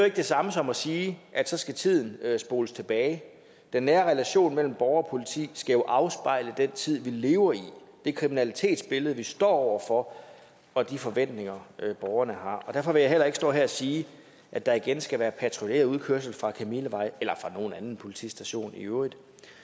ikke det samme som at sige at så skal tiden spoles tilbage den nære relation mellem borger og politi skal jo afspejle den tid vi lever i det kriminalitetsbillede vi står over for og de forventninger borgerne har derfor vil jeg heller ikke stå her og sige at der igen skal være patruljeret udkørsel fra kamillevej eller fra nogen anden politistation i øvrigt